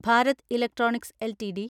Bharat electronics LTD